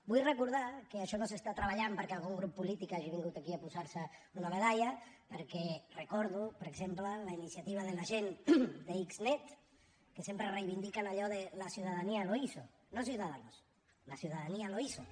vull recordar que això no s’està treballant perquè algun grup polític hagi vingut aquí a posar se una medalla perquè recordo per exemple la iniciativa de la gent d’xnet que sempre reivindiquen allò de la ciudadanía lo hizo no ciudadanos la ciudadanía lo hizo